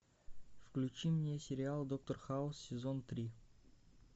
включи мне сериал доктор хаус сезон три